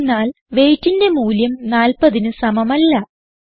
എന്തെന്നാൽ weightന്റെ മൂല്യം 40ന് സമമല്ല